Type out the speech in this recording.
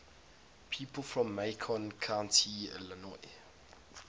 people from macon county illinois